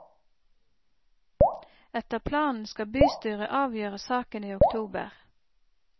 Etter planen skal bystyret avgjøre saken i oktober.